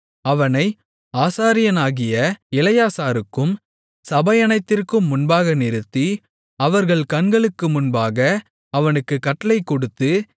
அவனை ஆசாரியனாகிய எலெயாசாருக்கும் சபையனைத்திற்கும் முன்பாக நிறுத்தி அவர்கள் கண்களுக்கு முன்பாக அவனுக்குக் கட்டளைகொடுத்து